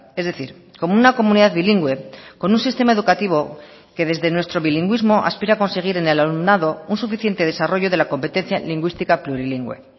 es decir como una comunidad bilingüe con un sistema educativo que desde nuestro bilingüismo aspira a conseguir en el alumnado un suficiente desarrollo de la competencia lingüística plurilingüe